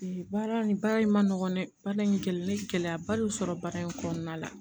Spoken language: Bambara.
Baara nin baara in man nɔgɔn dɛ baara in kɛli ne gɛlɛyaba de y'u sɔrɔ baara in kɔnɔna la